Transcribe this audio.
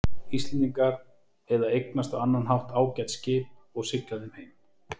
Íslendingar eða eignast á annan hátt ágæt skip og sigla þeim heim.